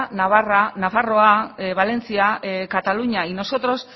navarra nafarroa valencia cataluña y nosotros